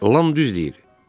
Lam düz deyir.